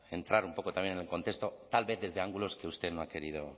entrar un poco también en el contexto tal vez desde ángulos que usted no ha querido